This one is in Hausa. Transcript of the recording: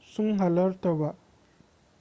sun halarta ba